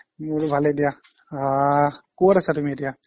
মোৰো ভালেই দিয়া আহ ক'ত আছা তুমি এতিয়া